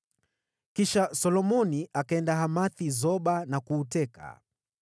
Kisha Solomoni akaenda Hamath-Soba na kuuteka.